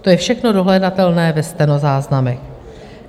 To je všechno dohledatelné ve stenozáznamech.